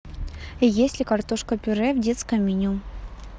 есть ли картошка пюре в детском меню